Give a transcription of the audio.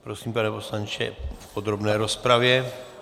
Prosím, pane poslanče, v podrobné rozpravě.